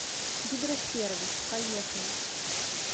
гидросервис поехали